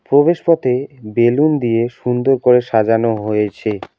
প্রবেশপথে বেলুন দিয়ে সুন্দর করে সাজানো হয়েছে।